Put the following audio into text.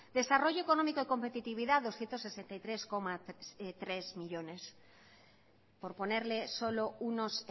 desarrollo económico de competitividad doscientos sesenta y tres coma tres millónes por ponerle solo unos